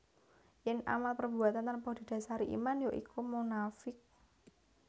Yen amal perbuatan tanpa didasari iman ya iku munafiq